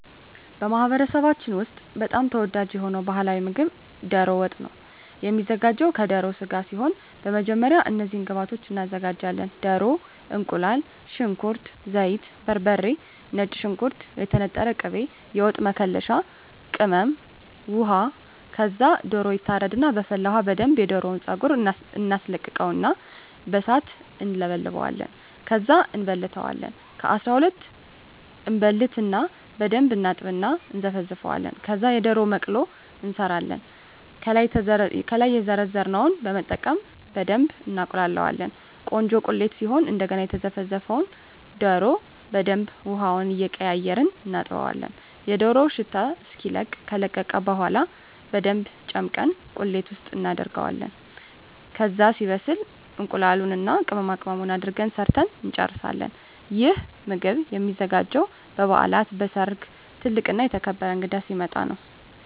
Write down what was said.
በማኅበረሰባችን ውስጥ በጣም ተወዳጅ የሆነው ባሕላዊ ምግብ ደሮ ወጥ ነው የሚዘጋው ከደሮ ስጋ ሲሆን በመጀመሪያ እነዚህን ግብአቶች እናዘጋጃለን። ደሮ፣ እቁላል፣ ሽንኩርት፣ ዘይት፣ በርበሬ፣ ነጭ ሽንኩርት፣ የተነጠረ ቅቤ፣ የወጥ መከለሻ ቅመም፣ ውሃ ከዛ ደሮው ይታረድና በፈላ ውሀ በደንብ የደሮውን ፀጉር እናስለቅቀውና በሣት እንለበልበዋለን። ከዛ እንበልተዋለን ከ12 እበልትና በደንብ እናጥብና እና እነዘፈዝፈዋለን። ከዛ የደሮ መቅሎ እንሠራለን። ከላይ የዘረዘርነውን በመጠቀም በደብ እናቁላላዋለን ቆንጆ ቁሌት ሲሆን እደገና የዘፈዘፍነውን ደሮ በደንብ ውሀውን እየቀያየርን እናጥበዋለን የደሮው ሽታ እስኪለቅ። ከለቀቀ በኋላ በደንብ ጨምቀን ቁሌት ውስጥ እናደርገዋለን። ከዛ ሲበስል እቁላሉን እና ቅመማቅመሙን አድርገን ሠርተን እንጨርሣለን። ይህ ምግብ የሚዘጋጀው በበዓላት፣ በሠርግ፣ ትልቅ እና የተከበረ እንግዳ ሲመጣ።